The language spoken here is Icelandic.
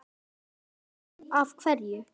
Ég man sitt af hverju